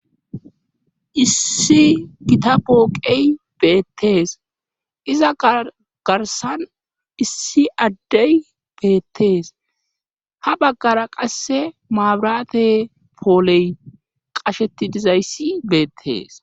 Issi gita booqey beettees iza garsan issi addey beettees ha baggara qasse maabirate pooley qasheti dizayssi beettees.